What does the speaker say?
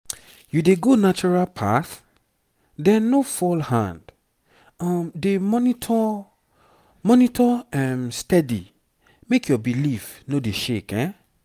you dey go natural path? then no fall hand. um dey monitor monitor um steady make your belief no dey shake